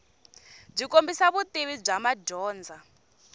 byi kombisa vutivi bya madyondza